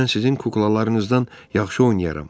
Mən sizin kuklalarınızdan yaxşı oynayaram.